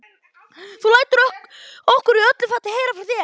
Þú lætur okkur í öllu falli heyra frá þér.